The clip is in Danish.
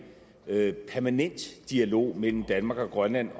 permanent dialog mellem danmark og grønland